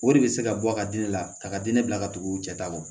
O de bɛ se ka bɔ a ka di ne la ka diinɛ bila ka tugu u cɛ ta kɔ